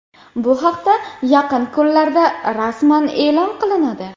Bu haqda yaqin kunlarda rasman e’lon qilinadi.